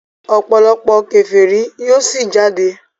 òpòlopò keferi yíò sí jáde.